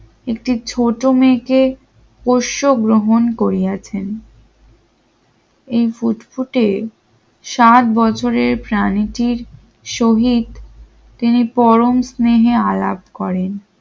একটি ছোট মেয়েকে পোষ্য গ্রহণ করিয়াছেন এই ফুটফুটে ষাট বছরের প্রাণীটির শহীদ তিনি পরম স্নেহে আলাপ করেন।